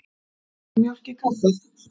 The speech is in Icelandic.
Viltu mjólk í kaffið?